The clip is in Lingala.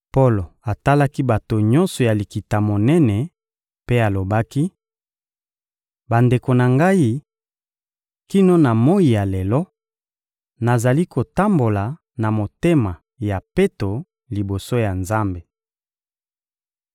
Polo atalaki bato nyonso ya Likita-Monene mpe alobaki: — Bandeko na ngai, kino na moyi ya lelo, nazali kotambola na motema ya peto liboso ya Nzambe.